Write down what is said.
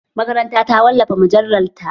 Makaranta ta wallafa mujallar ta